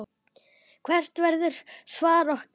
Hvert verður svar okkar?